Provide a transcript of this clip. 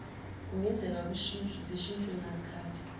kungenzeka zishintshwe ngazikhathi